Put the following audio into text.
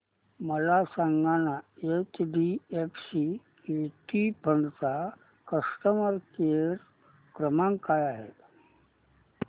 मला सांगाना HDFC equity fund चा कस्टमर केअर क्रमांक काय आहे